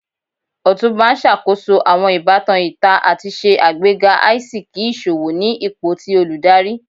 Otunba n ṣakoso awọn ibatan ita ati ṣe agbega aisiki iṣowo ni ipo ti oludari.